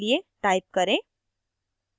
type करें